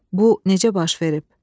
Bu necə baş verib?